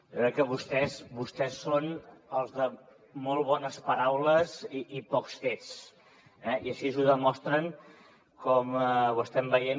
jo crec que vostès són els de molt bones paraules i pocs fets i així ho demostren com ho estem veient